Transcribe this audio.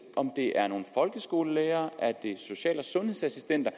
om det er folkeskolelærere eller social og sundhedsassistenter